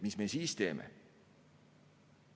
Mis me siis teeme?